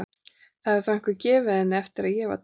Það hefur þá einhver gefið henni hann eftir að ég var tekin.